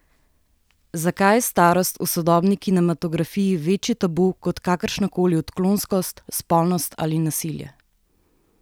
Zakaj je starost v sodobni kinematografiji večji tabu kot kakršna koli odklonskost, spolnost ali nasilje?